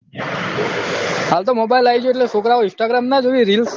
હાલ તો mobile આયીગયા એટલે છોકરાઓ instagram ના જોવે reels